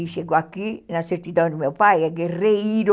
E chegou aqui, na certidão do meu pai, é Guerreiro.